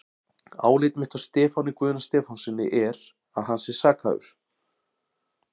Álit mitt á Stefáni Guðna Stefánssyni er, að hann sé sakhæfur.